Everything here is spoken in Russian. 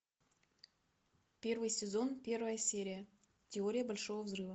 первый сезон первая серия теория большого взрыва